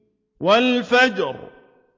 وَالْفَجْرِ